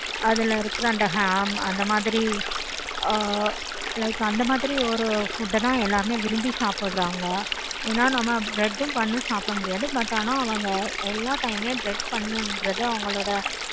அதுல இருக்குற அந்த ham அந்த மாதிரி like அந்த மாதிரி ஒரு food ஆஹ் எல்லாருமே விரும்பி சாப்பிடுறாங்க. ஏனா நம்ம bread உம் bun உம் சாப்பிட முடியாது. but ஆனா அவங்க எல்லா time ளையும் bread பண்ணுகிறது அது